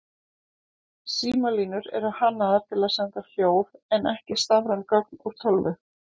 Símalínur eru hannaðar til að senda hljóð en ekki stafræn gögn úr tölvu.